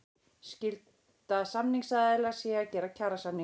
Skylda samningsaðila sé að gera kjarasamninga